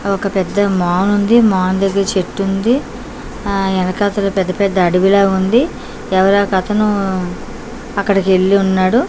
ఒక పెద్ద మాలుంది మాల్ దగ్గర చెట్టుంది ఆ ఎనకాతల పెద్ద పెద్ద అడవిలాగుంది ఎవరో ఒకతనూ అక్కడకెళ్ళి ఉన్నాడు.